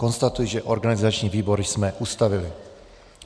Konstatuji, že organizační výbor jsme ustavili.